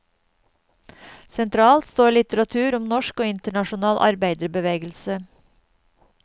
Sentralt står litteratur om norsk og internasjonal arbeiderbevegelse.